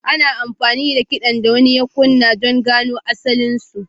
Ana amfani da nau'in kiɗan da wani ya kunna don gano asalinsu.